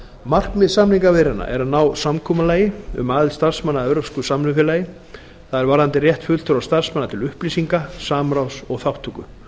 markmið samningaviðræðna er að ná samkomulagi um aðild starfsmanna að evrópsku samvinnufélagi það er varðandi rétt fulltrúa starfsmanna til upplýsinga samráðs og þátttöku